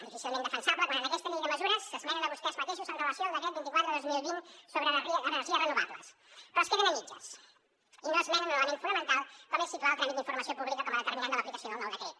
difícilment defensable quan en aquesta llei de mesures s’esmenen vostès mateixos amb relació al decret vint quatre dos mil vint sobre energies renovables però es queden a mitges i no esmenen un element fonamental com és situar el tràmit d’informació pública com a determinant de l’aplicació del nou decret